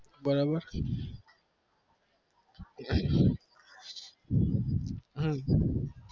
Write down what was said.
બરાબર હમ